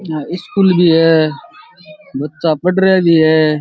आ स्‍कूल भी है। बच्‍चा पढ़रिया भी है।